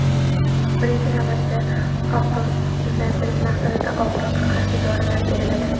Birinchi navbatda og‘riqsizlantirish maqsadida og‘riqqa qarshi dorilar beriladi.